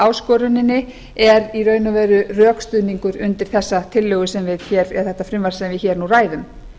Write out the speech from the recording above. áskoruninni er í raun og veru rökstuðningur undir þetta frumvarp sem við hér nú ræðum